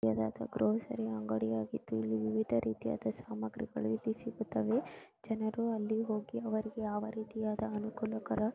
grocery ಅಂಗಡಿ ಆಗಿದ್ದು ಇಲ್ಲಿ ವಿವಿಧ ರೀತಿಯಾದ ಸಾಮಗ್ರಿಗಳು ಇಲ್ಲಿ ಸಿಗುತ್ತವೆ ಜನರು ಅಲ್ಲಿಗೆ ಹೋಗಿ ಅವರಿಗೆ ಯಾವ ರೀತಿಯಾದ ಅನುಕೂಲಕರ --